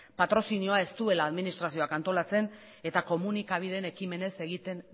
patrozinioa ez duela administrazioak antolatzen eta komunikabideen ekimenez egiten